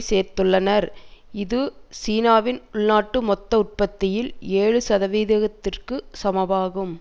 சேர்த்துள்ளனர் இது சீனாவின் உள்நாட்டு மொத்த உற்பத்தியில் ஏழு சதவீதத்திற்கு சமமாகும்